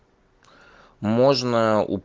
можно о